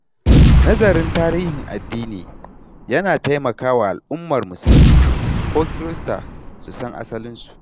Nazarin tarihin addini ya na taimaka wa al’ummar musulmi ko kirista su san asalinsu.